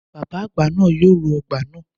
Bàbá àgbà nàá yoo ro ọgbà nàá